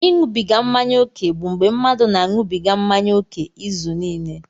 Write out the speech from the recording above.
Ịṅụbiga mmanya ókè bụ mgbe mmadụ na-aṅụbiga mmanya ókè izuniile.